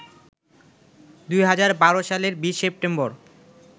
২০১২ সালের ২০ সেপ্টেম্বর